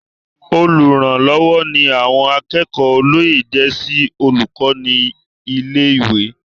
Olùrànlọ́wọ́ ni àwọn akẹ́kọ̀ọ́ olóyè jẹ́ sí olùkọ́ ní ilé-ìwé.